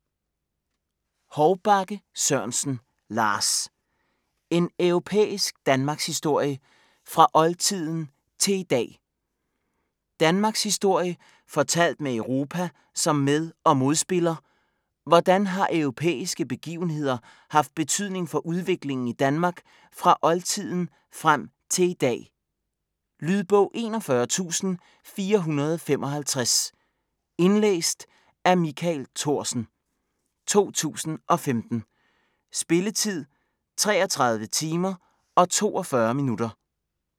Hovbakke Sørensen, Lars: En europæisk danmarkshistorie - fra oldtiden til i dag Danmarkshistorie fortalt med Europa som med- og modspiller, hvordan har europæiske begivenheder haft betydning for udviklingen i Danmark fra oldtiden frem til i dag. Lydbog 41455 Indlæst af Michael Thorsen, 2015. Spilletid: 33 timer, 42 minutter.